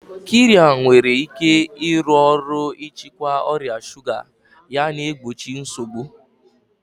Qirya nwere ike ịrụ ọrụ n'ịchịkwa ọrịa shuga yana igbochi nsogbu.